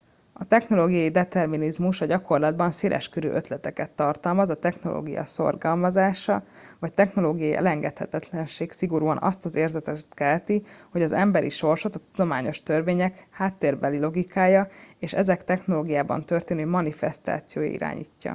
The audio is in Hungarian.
a technológiai determinizmus a gyakorlatban széleskörű ötleteket tartalmaz a technológia szorgalmazása vagy technológiai elengedhetetlenség szigorúan azt az érzetet kelti hogy az emberi sorsot a tudományos törvények háttérbeli logikája és ezek technológiában történő manifesztációja irányítja